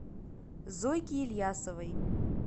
зойки ильясовой